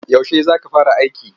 Yaushe za fara aiki?